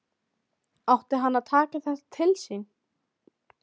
Átti hann að taka þetta til sín?